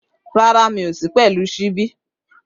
Rárá, mi ò sí pẹ̀lú ṣíbí